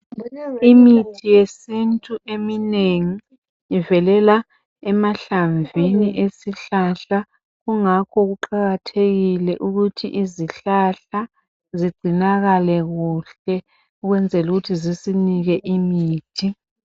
Imithi yesintu eminengi ivelela emahlamvini esihlahla kungakho kuqakathekile ukuthi izihlahla zigcinakale kuhle ukwenzela ukuthi zisinike imithi.